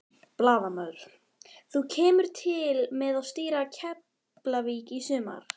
Blaðamaður: Þú kemur til með að stýra Keflavík í sumar?